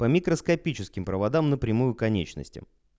по микроскопическим проводам напрямую к конечностям